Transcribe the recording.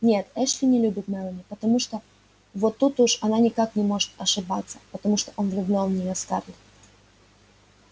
нет эшли не любит мелани потому что вот тут уж она никак не может ошибаться потому что он влюблён в нее в скарлетт